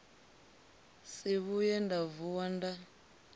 si vhuye nda vuwa ndo